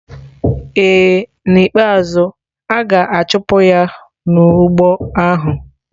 Ee, n'ikpeazụ, a ga-achụpụ ya n'ugbo ahụ.